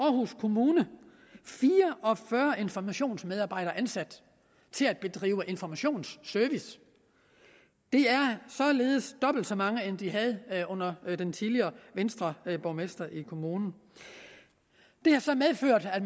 aarhus kommune fire og fyrre informationsmedarbejdere ansat til at give informationsservice det er således dobbelt så mange end de havde under den tidligere venstreborgmester i kommunen det har så medført at